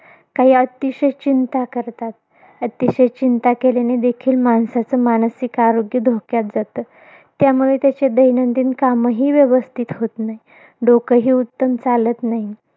काही अतिशय चिंता करतात. अतिशय चिंता केल्याने देखील माणसाचं मानसिक आरोग्य धोक्यात जातं. त्यामुळे त्याची दैनंदिन कामंही व्यवस्थित होत नाहीत. डोकं ही उत्तम चालत नाही.